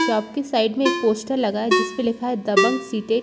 shop की side में एक पोस्टर